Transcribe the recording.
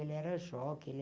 Ele era jockey.